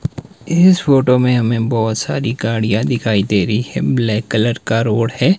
इस फोटो में हमें बहुत सारी गाड़ियां दिखाई दे रही है ब्लैक कलर का रोड है।